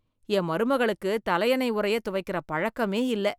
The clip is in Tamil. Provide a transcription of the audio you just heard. என் மருமகளுக்கு தலையணை உறையத் தொவைக்கிற பழக்கமே இல்லை